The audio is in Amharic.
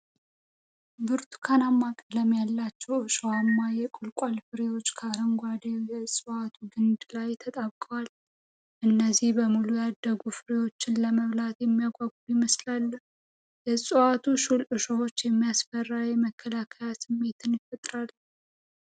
ብርቱካናማ ቀለም ያላቸው እሾሃማ የቁልቋል ፍሬዎች ከአረንጓዴው የእጽዋቱ ግንድ ጋር ተጣብቀዋል። እነዚህ በሙሉ ያደጉ ፍሬዎች ለመበላት የሚጓጉ ይመስላሉ። የዕፅዋቱ ሹል እሾሆች የሚያስፈራ የመከላከያ ስሜት ይፈጥራሉ